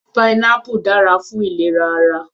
Pineapple dára fún ìlera ara.